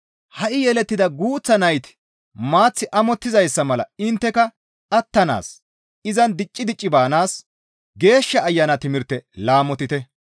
Ha7i yelettida guuththa nayti maath amottizayssa mala intteka attanaas, izan dicci dicci baanaas Geeshsha Ayana timirte laamotite.